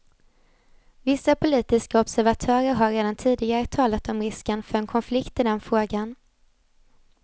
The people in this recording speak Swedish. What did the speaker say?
Vissa politiska observatörer har redan tidigare talat om risken för en konflikt i den frågan.